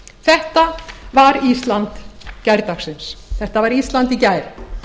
þetta var ísland gærdagsins þetta var ísland í gær